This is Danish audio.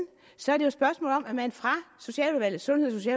så er det jo et spørgsmål om at man fra socialudvalget sundheds og